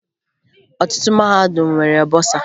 Ọtụtụ mahadum nwere bọsaa